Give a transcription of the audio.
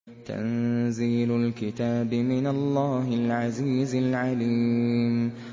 تَنزِيلُ الْكِتَابِ مِنَ اللَّهِ الْعَزِيزِ الْعَلِيمِ